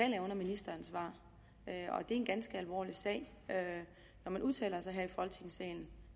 jeg under ministeransvar og det er en ganske alvorlig sag når man udtaler sig her i folketingssalen